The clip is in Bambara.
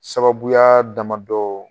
Sababuya damadɔ